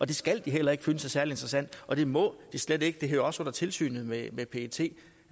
det skal de heller ikke føle er så særlig interessant og det må de slet ikke det hører også under tilsynet med pet